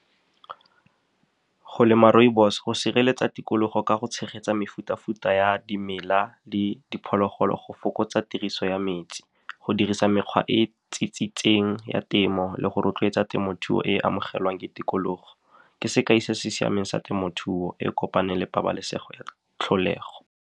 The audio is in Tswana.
Go lema rooibos go sireletsa tikologo ka go tshegetsa mefuta-futa ya dimela le diphologolo, go fokotsa tiriso ya metsi. Go dirisa mekgwa e ya temo le go rotloetsa temothuo e e amogelwang ke tikologo. Ke sekai se se siameng sa temothuo e kopaneng le pabalesego ya tlholego.